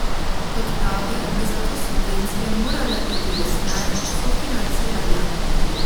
Kot pravi, bi zato subvencije morale iti v smer sofinanciranja.